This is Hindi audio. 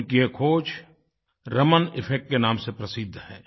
उनकी एक ख़ोज रमन इफेक्ट के नाम से प्रसिद्ध है